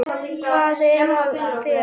Hvað er að þér?